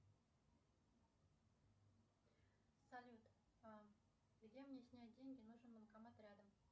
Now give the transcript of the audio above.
салют где мне снять деньги нужен банкомат рядом